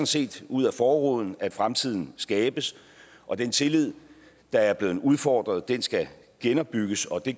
set ud ad forruden at fremtiden skabes og den tillid der er blevet udfordret skal genopbygges og det